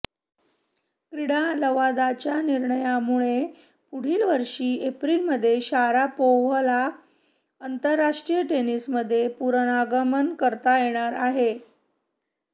क्रीडा लवादाच्या निर्णयामुळे पुढील वर्षी एप्रिलमध्ये शारापोव्हाला आंतरराष्ट्रीय टेनिसमध्ये पुनरागमन करता येणार आहे